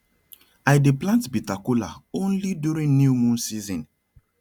i dey plant bitter kola only during new moon season